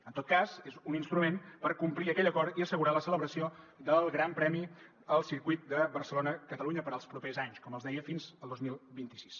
en tot cas és un instrument per complir aquell acord i assegurar la celebració del gran premi al circuit de barcelona catalunya per als propers anys com els deia fins al dos mil vint sis